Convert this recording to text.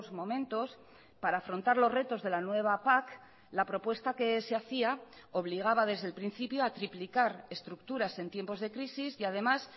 momentos para afrontar los retos de la nueva pac la propuesta que se hacía obligaba desde el principio a triplicar estructuras en tiempos de crisis y además